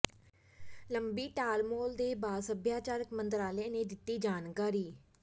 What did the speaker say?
ਲੰਬੀ ਟਾਲਮਟੋਲ ਦੇ ਬਾਅਦ ਸੱਭਿਆਚਾਰਕ ਮੰਤਰਾਲੇ ਨੇ ਦਿੱਤੀ ਜਾਣਕਾਰੀ